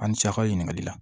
An ni cɛ ka ɲininkali la